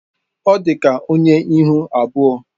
Ọ dị ka onye ihu abụọ.